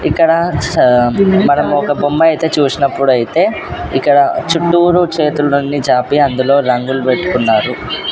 ఇక్కడ చ మనము ఒక బొమ్మ అయితే చూసినప్పుడు అయితే ఇక్కడ చుట్టూరు చేతులు నుండి చాపి అందులో రంగులు పెట్టుకున్నారు.